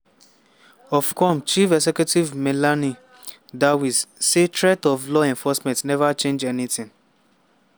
ofcome chief executive melanie dawes say threats of law enforcement neva change anytin.